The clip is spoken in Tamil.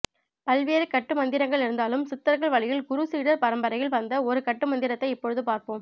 பல்வேறு கட்டு மந்திரங்கள் இருந்தாலும் சித்தர்கள் வழியில் குரு சீடர் பரம்பரையில் வந்த ஒரு கட்டு மந்திரத்தை இப்பொழுது பார்ப்போம்